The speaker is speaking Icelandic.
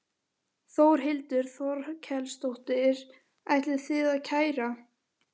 Þórhildur Þorkelsdóttir: Ætlið þið að kæra?